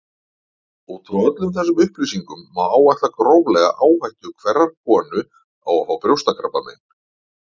Út frá öllum þessum upplýsingum má áætla gróflega áhættu hverrar konu á að fá brjóstakrabbamein.